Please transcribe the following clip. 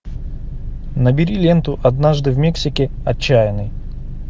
набери ленту однажды в мексике отчаянный